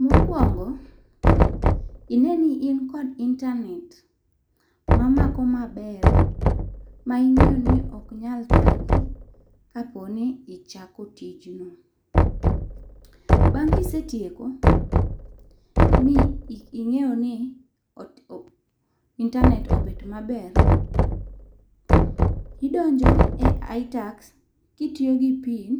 Mo okuongo, ing'e ni in kod intanet ma mako ma ber ma ing'e ni ok nyal thagi ka po ni ichako tij no. Bang' ki isetieko mi ing'eyo ni intanet obet ma ber, idonjo e itax ki itiyo gi pin